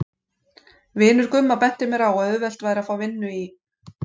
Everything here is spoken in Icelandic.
Vinur Gumma benti mér á að auðvelt væri að fá vinnu í